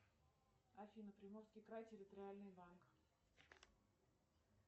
афина приморский край территориальный банк